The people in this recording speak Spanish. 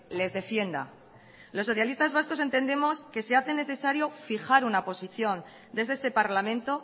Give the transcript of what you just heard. les defienda los socialistas vascos entendemos que se hace necesario fijar una posición desde este parlamento